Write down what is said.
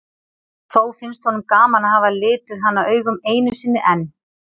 Þó finnst honum gaman að hafa litið hana augum einu sinni enn.